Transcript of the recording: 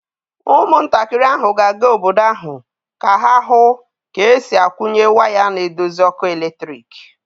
Ụmụntakịrị ahụ ga-aga obodo ahụ ka ha hụ ka e si akwunye way na-edozi ọkụ eletrik.